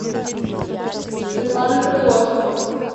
светлана крылосова